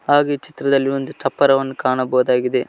ಹಾಗೆ ಈ ಚಿತ್ರದಲ್ಲಿ ಒಂದು ಚಪ್ಪರವನ್ನು ಕಾಣಬಹುದಾಗಿದೆ.